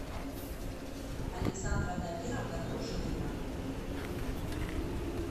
александра дамировна дружинина